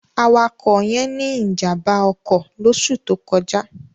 Awakọ̀ yẹn ní ìjàm̀bá ọkọ̀ lóṣù tó kọjá.